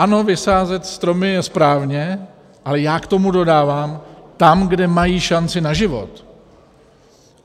Ano, vysázet stromy je správně, ale já k tomu dodávám - tam, kde mají šanci na život.